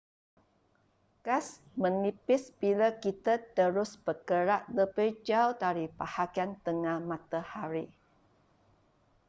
gas menipis bila kita terus bergerak lebih jauh dari bahagian tengah matahari